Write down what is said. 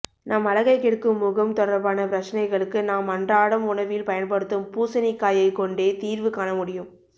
நம் அழகை கெடுக்கும் முகம் தொடர்பான பிரச்சனைகளுக்கு நாம் அன்றாடம் உணவில் பயன்படுத்தும் பூசணிக்காயை கொண்டே தீர்வு காண முடியும்